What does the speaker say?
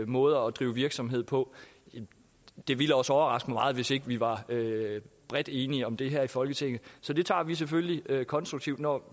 måder at drive virksomhed på det ville også overraske mig meget hvis ikke vi var bredt enige om det her i folketinget så det tager vi selvfølgelig konstruktivt når